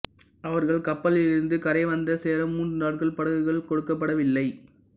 அவர்கள் கப்பலிலிருந்து கரை வந்து சேர மூன்று நாட்கள் படகுகள் கொடுக்கப்படவில்லை